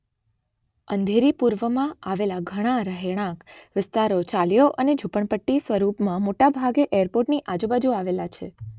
અંધેરી પૂર્વમાં આવેલાં ઘણાં રહેણાંક વિસ્તારો ચાલીઓ અને ઝૂંપડપટ્ટી સ્વરૂપમાં મોટાભાગે એરપોર્ટની આજુબાજુ આવેલાં છે.